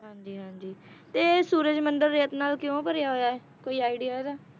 ਹਾਂਜੀ ਹਾਂਜੀ ਤੇ ਸੂਰਜ ਮੰਦਿਰ ਰੇਤ ਨਾਲ ਕਿਉਂ ਭਰਿਆ ਹੋਇਆ ਇਹ ਕੋਈ idea ਇਹਦਾ